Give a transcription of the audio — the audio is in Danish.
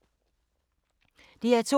DR2